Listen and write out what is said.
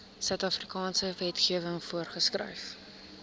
suidafrikaanse wetgewing voorgeskryf